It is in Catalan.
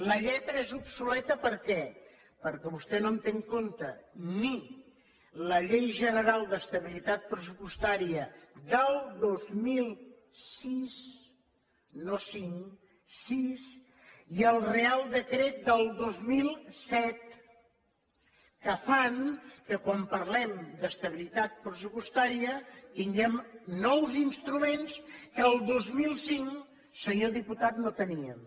la lletra és obsoleta per què perquè vostè no té en compte ni la llei general d’estabilitat pressupostària del dos mil sis no cinc sis i el reial decret del dos mil set que fan que quan parlem d’estabilitat pressupostària tinguem nous instruments que al dos mil cinc senyor diputat no teníem